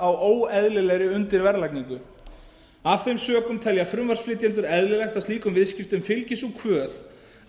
á óeðlilegri undirverðlagningu af þeim sökum telja frumvarpsflytjendur eðlilegt að slíkum viðskiptum fylgi sú kvöð